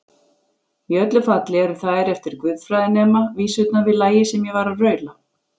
Í öllu falli eru þær eftir guðfræðinema vísurnar við lagið sem ég var að raula.